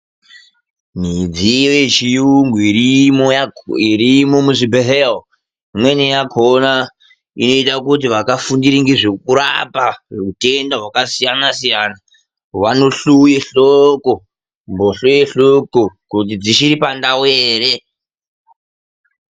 Midziyo yechiyungu irimo muzvibhedhlera imweni yakona inoita kuti vakafundira nezvekurapa hutenda hwakasiyana -siyana vanohluwe hloko mbohlo yehloko kuti dzichiri pandau here.